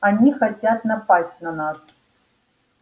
они хотят напасть на нас